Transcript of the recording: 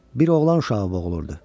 Bir oğlan uşağı boğulurdu.